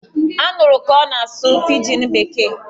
A nụrụ ka ọ na-asụ pijin bekee!